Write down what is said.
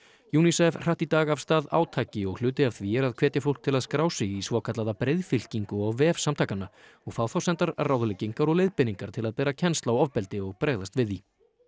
unicef hratt í dag af stað átaki og hluti af því er að hvetja fólk til að skrá sig í svokallaða breiðfylkingu á vef samtakanna og fá þá sendar ráðleggingar og leiðbeiningar til að bera kennsl á ofbeldi og bregðast við því